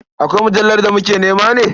Akwai mujallar da muke nema ne?